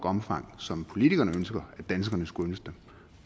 omfang som politikerne ønsker at danskerne skulle ønske